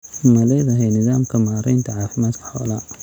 Ma leedahay nidaamka maaraynta caafimaadka xoolaha?